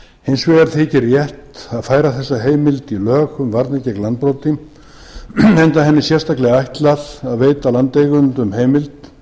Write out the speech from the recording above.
hins vegar þykir rétt að færa þessa heimild í lög um varnir gegn landbroti enda henni sérstaklega ætlað að veita landeigendum heimild